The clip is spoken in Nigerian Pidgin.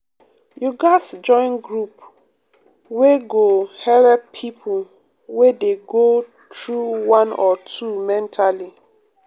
you gats join group um wey go helep people wey dey go um through one or two mentally